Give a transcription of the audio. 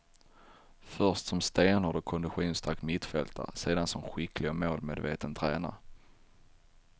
Först som stenhård och konditionsstark mittfältare, sedan som skicklig och målmedveten tränare.